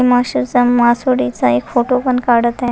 माश्याचा आणि मासवडीचा एक फोटो पण काढत आहे.